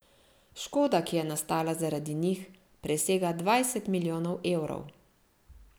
Škoda, ki je nastala zaradi njih, presega dvajset milijonov evrov.